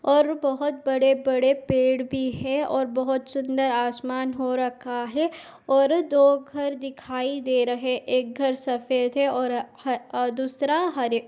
और बहुत बड़े - बड़े पेड भी है और बहुत सुंदर आसमान हो रखा है और दो घर दिखाई दे रहे एक घर सफेद है और ह- और दूसरा हरे --